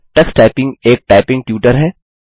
Tux typing एक typing tutor है